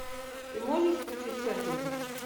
ты можешь включить фэнтези